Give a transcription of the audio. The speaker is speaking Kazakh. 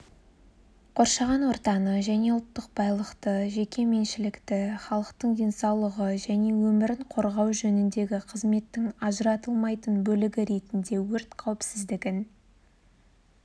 қоршаған ортаны және ұлттық байлықты жеке меншілікті халықтың денсаулығы және өмірін қорғау жөніндегі қызметтің ажыратылмайтын бөлігі ретінде өрт қауіпсіздігін